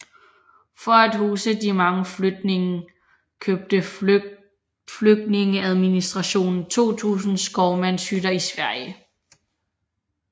For at huse de mange flygtninge købte flygtningeadministrationen 2000 skovmandshytter i Sverige